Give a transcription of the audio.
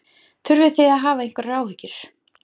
Þurfið þið að hafa einhverjar áhyggjur?